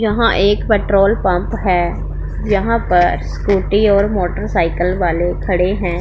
यहां एक petrol pump है जहां पर स्कूटी और मोटरसाइकिल वाले खड़े हैं।